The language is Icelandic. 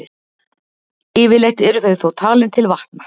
Yfirleitt eru þau þó talin til vatna.